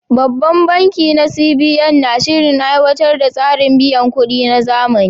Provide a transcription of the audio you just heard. Babban bankin na CBN na shirin aiwatar da tsarin biyan kuɗi na zamani.